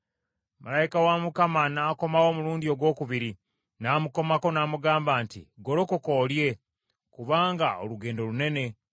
Malayika wa Mukama n’akomawo omulundi ogwokubiri n’amukomako n’amugamba nti, “Golokoka olye, kubanga olugendo lunene.”